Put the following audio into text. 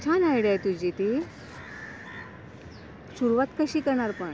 छान आयडिया आहे तूझी ती. सुरुवात कशी करणार पण?